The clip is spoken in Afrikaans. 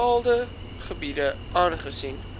bepaalde gebiede aangesien